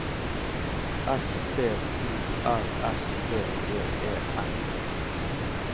S T O R S V E E N